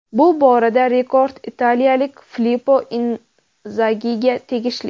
Bu borada rekord italiyalik Filipo Inzagiga tegishli.